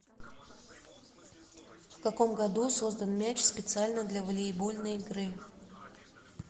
в каком году создан мяч специально для волейбольной игры